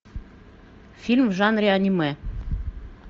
фильм в жанре аниме